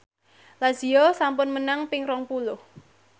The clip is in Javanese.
Lazio sampun menang ping rong puluh